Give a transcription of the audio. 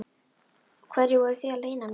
Hverju voruð þið að leyna mig?